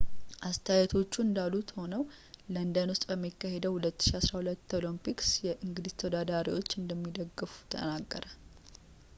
አስተያየቶቹ እንዳሉ ሆነው ለንደን ውስጥ በሚካሄደው 2012 ኦሎምፒክስ የእንግሊዝ ተወዳዳሪዎቹን እንደሚደግፍ ተናገረ